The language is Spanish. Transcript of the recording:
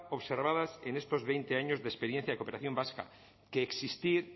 observadas en estos veinte años de experiencia de cooperación vasca que existir